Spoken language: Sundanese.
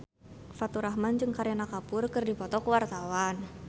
Faturrahman jeung Kareena Kapoor keur dipoto ku wartawan